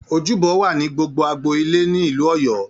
Ojúbọ wà ní gbogbo agbo ilé ni ilú Ọ̀yọ́.